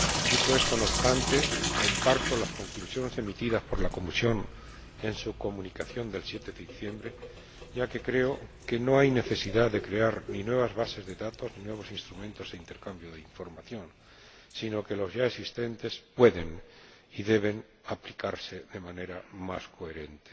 Dicho esto, no obstante, comparto las conclusiones emitidas por la Comisión en su Comunicación del 7 de diciembre, ya que creo que no hay necesidad de crear ni nuevas bases de datos ni nuevos instrumentos de intercambio de información, sino que los ya existentes pueden y deben aplicarse de manera más coherente.